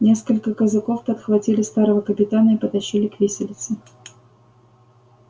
несколько казаков подхватили старого капитана и потащили к виселице